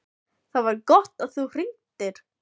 ÞAÐ VAR GOTT AÐ ÞÚ HRINGDIR.